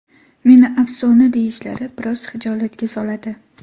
Meni afsona deyishlari biroz xijolatga soladi.